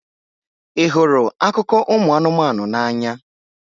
Ị hụrụ akụkọ ụmụ anụmanụ n'anya?